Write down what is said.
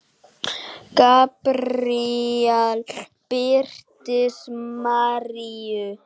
Gabríel birtist Maríu